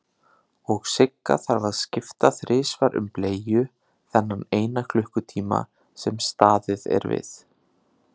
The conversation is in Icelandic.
Og Sigga þarf að skipta þrisvar um bleiu þennan eina klukkutíma sem staðið er við.